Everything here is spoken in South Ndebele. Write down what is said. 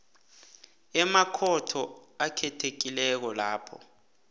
emakhotho akhethekileko lapho